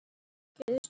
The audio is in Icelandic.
Gerist það núna?